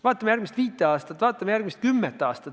Vaatame järgmist viit aastat – hea küll, vaatame järgmist kümmet aastat.